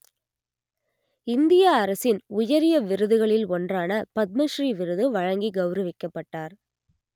இந்திய அரசின் உயரிய விருதுகளில் ஒன்றான பத்ம ஸ்ரீ விருது வழங்கி கெளரவிக்கப்பட்டார்